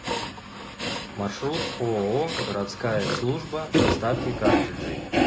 маршрут ооо городская служба доставки картриджей